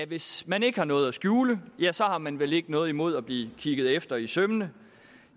hvis man ikke har noget at skjule har man vel ikke noget imod at blive kigget efter i sømmene